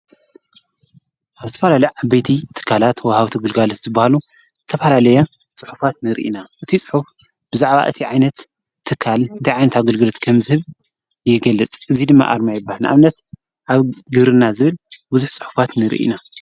ኣብ ትፈላልዕ ኣበቲ እትካላት ወሃዊ ቲ ግልጓለት ዝበሃሉ ተብላለያ ጽሑፋት ንርኢና። እቲ ጽሑፍ ብዛዕባ እቲ ዓይነት ትካል ቲይዓይንት ኣገልግርት ከም ዝህብ የገልጽ እዙይ ድመ ኣርማይባሕ ንኣምነት ኣብ ግርና ዝብል ብዙኅ ጽሕፋት ንርኢና።